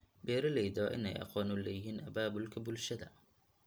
Beeralayda waa in ay aqoon u leeyihiin abaabulka bulshada.